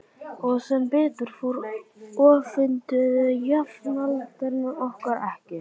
Og sem betur fór öfunduðu jafnaldrarnir okkur ekki.